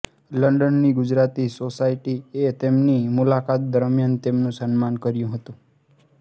લંડનની Gujarati society એ તેમની મુલાકાત દરમિયાન તેમનું સન્માન કર્યું હતું